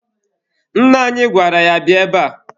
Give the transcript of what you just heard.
Nna anyị gwara ya, bịa ebe a!